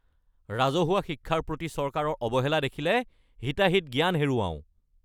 ৰাজহুৱা শিক্ষাৰ প্ৰতি চৰকাৰৰ অৱহেলা দেখিলে হিতাহিত জ্ঞান হেৰুৱাও।